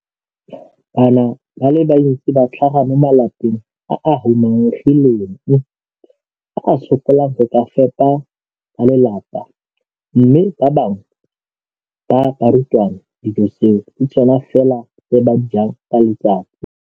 Bana ba le bantsi ba tlhaga mo malapeng a a humanegileng a a sokolang go ka fepa ba lelapa mme ba bangwe ba barutwana, dijo tseo ke tsona fela tse ba di jang ka letsatsi.